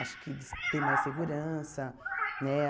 Acho que eles tem mais segurança, né?